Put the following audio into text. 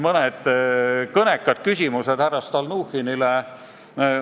Sellele on osutanud ka mõned kõnekad küsimused härra Stalnuhhinile.